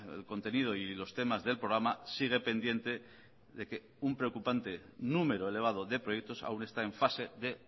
el contenido y los temas del programa sigue pendiente de que un preocupante número elevado de proyectos aún está en fase de